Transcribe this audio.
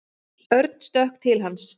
Örn stökk til hans.